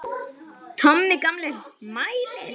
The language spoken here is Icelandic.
Tommi gamli mælir.